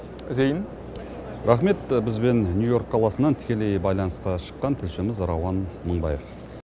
зейін рахмет бізбен нью йорк қаласынан тікелей байланысқа шыққан тілшіміз рауан мыңбаев